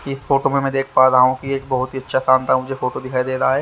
इस फोटो मे मै देख पा रहा हू एक बहोत ही अच्छा शॉप था मुझे फोटो दिखाई दे रहा है।